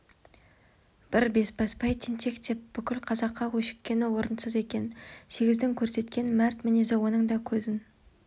бір бесбасбай тентек деп бүкіл қазаққа өшіккені орынсыз екен сегіздің көрсеткен мәрт мінезі оның да көзін